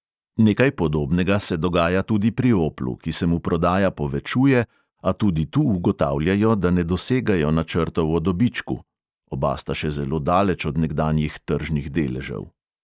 Nekaj podobnega se dogaja tudi pri oplu, ki se mu prodaja povečuje, a tudi tu ugotavljajo, da ne dosegajo načrtov o dobičku (oba sta še zelo daleč od nekdanjih tržnih deležev).